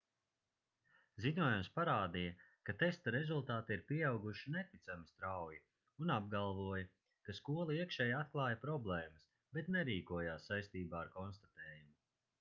ziņojums parādīja ka testa rezultāti ir pieauguši neticami strauji un apgalvoja ka skola iekšēji atklāja problēmas bet nerīkojās saistībā ar konstatējumu